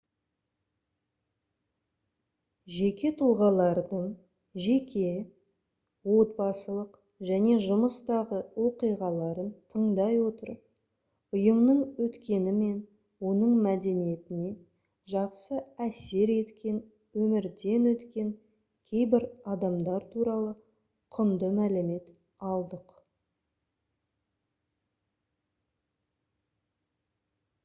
жеке тұлғалардың жеке отбасылық және жұмыстағы оқиғаларын тыңдай отырып ұйымның өткені мен оның мәдениетіне жақсы әсер еткен өмірден өткен кейбір адамдар туралы құнды мәлімет алдық